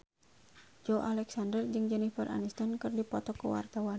Joey Alexander jeung Jennifer Aniston keur dipoto ku wartawan